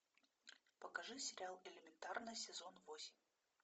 покажи сериал элементарно сезон восемь